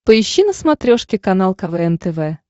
поищи на смотрешке канал квн тв